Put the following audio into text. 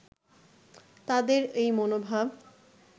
তাদের এই মনোভাব